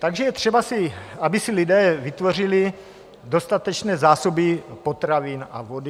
Takže je třeba, aby si lidé vytvořili dostatečné zásoby potravin a vody.